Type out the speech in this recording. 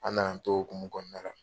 An nana an to o hokumu kɔnɔna na